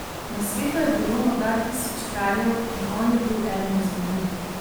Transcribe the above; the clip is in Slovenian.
Na svetu je bilo morda tisoč kraljev in on je bil eden izmed njih.